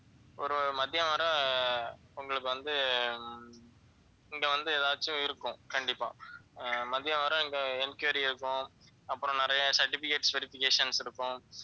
ஒரு மதியம் வரை உங்களுக்கு வந்து இங்க வந்து ஏதாச்சும் இருக்கும் கண்டிப்பா ஆஹ் மதியம் வரை இங்க enquiry இருக்கும் அப்புறம் நிறைய certificate verifications இருக்கும்.